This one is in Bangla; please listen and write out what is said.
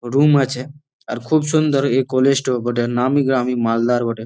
রুম আছে আর খুব সুন্দর এ কলেজ -টো বটে নামি গ্রামি মালদার বটে।